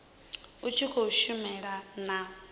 u tshi khou shumisana na